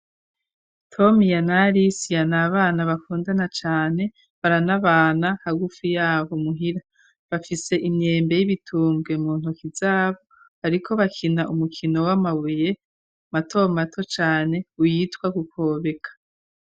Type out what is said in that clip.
tomiya na alisiya ni abana bakundana cane, baranabana hagufi yabo muhira, bafise imyembe y'ibitunge mu ntoki zabo, bariko bakina umukino w'amabuye mato mato cane witwa gukobeka.